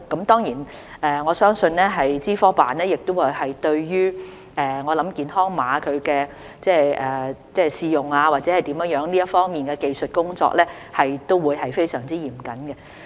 當然，我相信資科辦對於健康碼的試用或者其他方面的技術工作也會非常嚴謹。